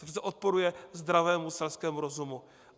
To přece odporuje zdravému selskému rozumu.